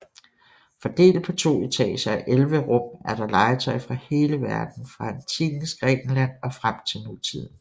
Fordelt på to etager og elleve rum er der legetøj fra hele verden fra Antikkens Grækenland og frem til nutiden